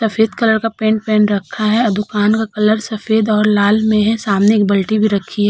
सफ़ेद कलर का पेंट पहन रखा है और दुकान का कलर सफ़ेद और लाल में है। सामने एक बाल्टी भी रखी है।